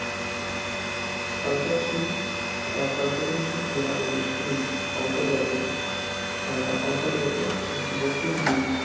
সঞ্চারশীল সঞ্চরণশীল গ্রহাণু বেষ্টনীর অন্তর্গত উহ অন্তর্গত বস্তুগুলির